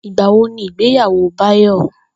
Ìgbà wo ni ìgbéyàwó Báyò̩?